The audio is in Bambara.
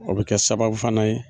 O bɛ kɛ sababu fana ye